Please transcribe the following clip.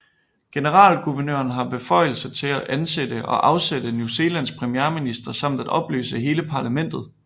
Generalguvernøren har beføjelse til at ansætte og afsætte New Zealands premierminister samt at opløse hele parlamentet